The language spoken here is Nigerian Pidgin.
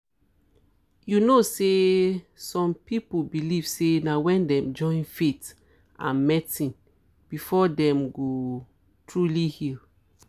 you know say some people believe say na wen dem join faith and medicine before dem um go truly heal